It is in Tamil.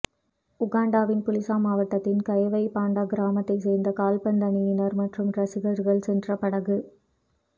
உகாண்டாவின் புலிசா மாவட்டத்தின் கவெய்பாண்டா கிராமத்தைச் சேர்ந்த கால்பந்து அணியினர் மற்றும் ரசிகர்கள் சென்ற படகு